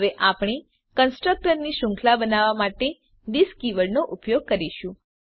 હવે આપણે કન્સ્ટ્રકટર ની શૃંખલા બનાવવા માટે થિસ કીવર્ડનો ઉપયોગ જોઈશું